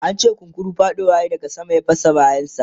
an ce kunkuru faɗowa yayi daga sama ya fasa bayan sa